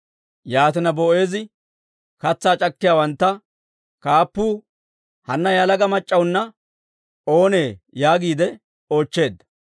Yaatina Boo'eezi katsaa c'akkiyaawanttu kaappuwaa, «Hanna yalaga mac'c'awunna oonnii?» yaagiide oochcheedda.